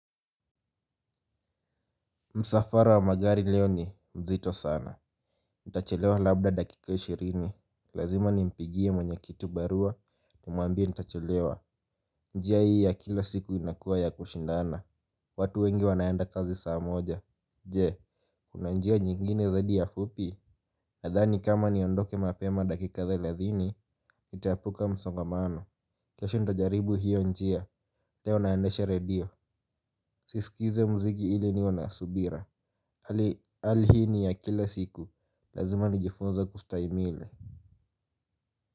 Msafara wa magari leo ni mzito sana. Nitachelewa labda dakika ishirini. Lazima nimpigie mwenye kibarua nimwambie nitachelewa. Njia hii ya kila siku inakuwa ya kushindana. Watu wengi wanaenda kazi saa moja je, kuna njia nyingine zadi ya fupi. Nadhani kama niondoke mapema dakika thelathini nitaepuka msongamano. Kesho nitajaribu hiyo njia. Leo naendesha radio sisikizi muziki ili niwe na subira. Hali hii ni ya kila siku. Lazima nijifunze kustahimili.